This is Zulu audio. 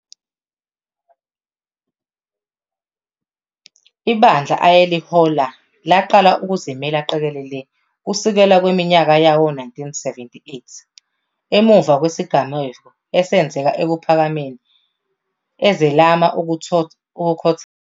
Ibandla ayelihola laqala ukuzimela qekelele kusukela ngeminyaka yawo-1978 emumva kwezigameko ezenzeka eKuphakameni ezelama ukukhothama kweNkosi u-JG Shembe ngoZibandlela 1976.